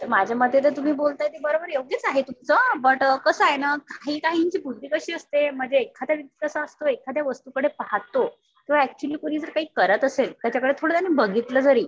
माझ्या मते तर तुम्ही जे बोलताय ते योग्यच आहे तुमचं. बट कसं आहे ना काही काहींची बुद्धी कशी असते मग ते एखादा व्यक्ती कसा असतो तो एखाद्या वस्तूकडे पाहतो. तो एक्चुअली कुणी जर काही करत असेल तर त्याच्याकडे थोडं त्याने बघितलं जरी